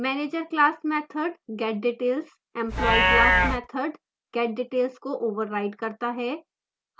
manager class method getdetails employee class method getdetails को overrides करता है